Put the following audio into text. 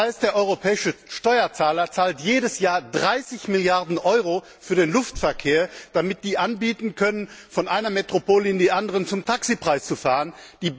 Das heißt, der europäische Steuerzahler zahlt jedes Jahr 30 Milliarden Euro für den Luftverkehr, damit die anbieten können, von einer Metropole in die andere zum Taxipreis zu fliegen.